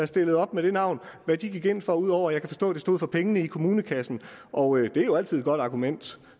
stillede op med det navn gik ind for ud over at jeg kan forstå at det stod for pengene i kommunekassen og det er jo altid et godt argument